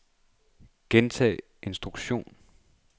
gentag instruktion